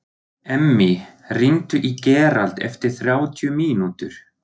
Emmý, hringdu í Gerald eftir þrjátíu mínútur.